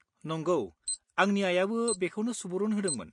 नंगौ, आंनि आइयाबो बेखौनो सुबुरुन होदोंमोन।